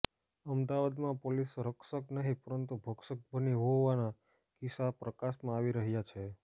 અમદાવાદમાં પોલીસ રક્ષક નહિ પરંતુ ભક્ષક બની હોવાના કિસ્સા પ્રકાશમાં આવી રહ્યા છે